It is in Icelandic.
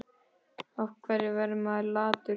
Af hverju verður maður latur?